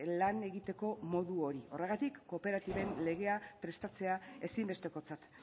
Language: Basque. lan egiteko modu hori horregatik kooperatiben legea prestatzea ezinbestekotzat